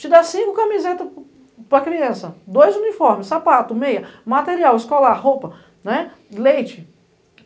te dá cinco camisetas para a criança, dois uniformes, sapato, meia, material, escolar, roupa, leite.